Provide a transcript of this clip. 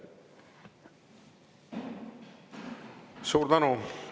Suur tänu!